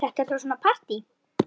Þetta er þá svona partí!